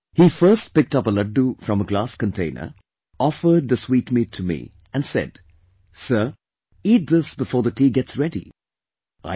He first picked up a Laddoo from a glass container, offered the sweetmeat to me & said, "Sir, eat this before the tea get ready"